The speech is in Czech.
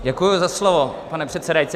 Děkuji za slovo, pane předsedající.